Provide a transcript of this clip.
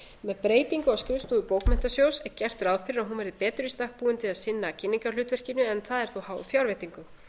með breytingu á skrifstofu bókmenntasjóðs er gert ráð fyrir að hún verði betri í stakk búin til að sinna kynningarhlutverkinu en það er þó háð fjárveitingu